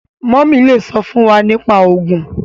mummy le sọ fún wá nípa ogun